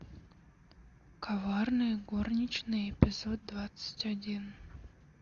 коварные горничные эпизод двадцать один